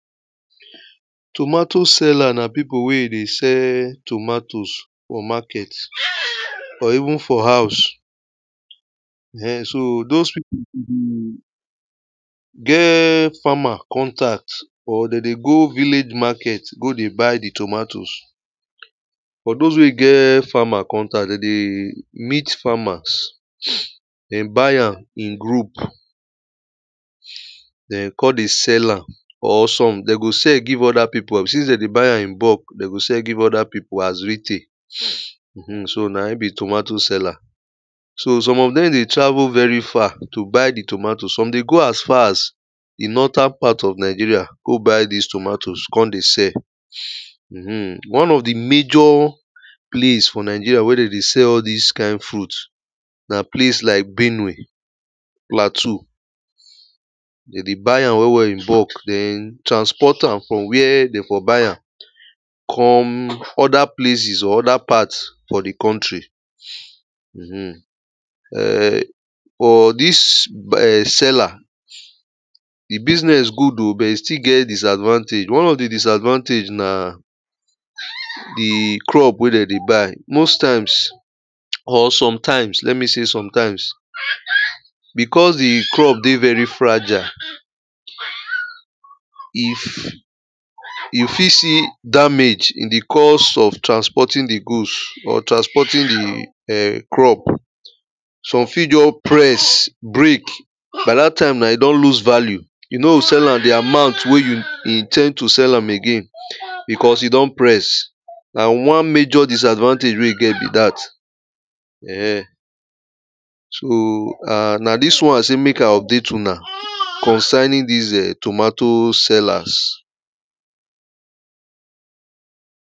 Tomato seller na pipo wey dey sell tomatoes for market, or even for house. um So those people dey get farmer contact or they dey go village market, go dey buy the tomatoes. For those wey get farmer contact, they dey meet farmers, dey buy am in group. Then come dey sell am, or some dey go sell give other people, after say dey buy am in bulk, dey go sell give other people as retail. um So na him be tomato seller. So some of them dey travel very far to buy the tomatoes. Some go as far as the northern part of Nigeria, go buy these tomatoes, come dey sell am. um One of the major place for Nigeria where dey dey sell all this kind food, na place like Benue, Plateau. Dey dey buy am well well in bulk, then transport am from where dey for buy am, come other places or other parts for the country. um um For this seller, the business good o, but e still get disadvantage. One of the disadvantage na the crop wey dey dey buy. Most times, or sometimes, let me say sometimes, because the crop dey very fragile, if um you fit see damage in the cause of transporting the goods or transporting the um crop. Some fit just press, break. By that time, now e don lose value. You no go sell am the amount wey you in ten d to sell am again, because e don press. Na one major disadvantage wey e get be that. um So, um na this one I say make I update una concerning these um tomato sellers.